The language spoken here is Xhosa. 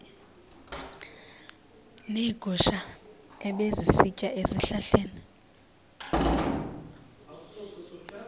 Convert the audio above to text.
neegusha ebezisitya ezihlahleni